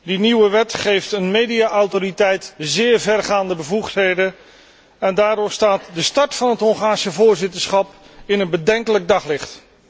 Die nieuwe wet geeft een media autoriteit zeer vergaande bevoegdheden en daardoor staat de start van het Hongaarse voorzitterschap in een bedenkelijk daglicht.